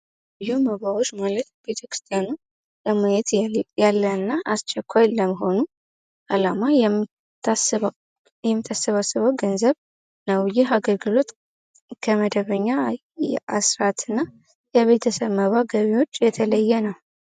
ዩ መባዎች መውለት ቤተክስቲያኖ ለመየት ያለእና አስቸኳይ ለመሆኑ አላማ የሚተሰባስበው ገንዘብ ነው ።ይህ አገልግሎት ከመደበኛ አስራት እና የቤተሰብ መባ ገቢዎች የተለየ ነው።